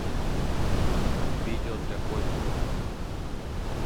видео для котиков